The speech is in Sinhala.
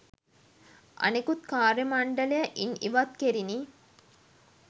අනෙකුත් කාර්ය මණ්‌ඩලය ඉන් ඉවත් කෙරිණි.